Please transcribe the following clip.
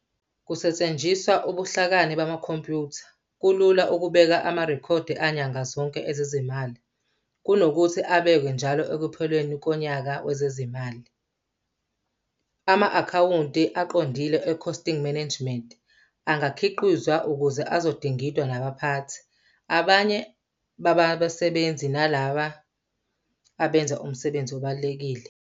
Kusetshenziswa ubuhlakani bamakhompyutha kulula ukubeka amarekhodi anyanga zonke ezezimali kunokuthi abekelwe njalo ekupheleni konyaka wezezimali. Ama-akhawunti aqondile ecosting nemanagement angakhiqizwa ukuze azodingidwa nabaphathi, abanye babasebenzi nalabo abenza umsebenzi obalulekile.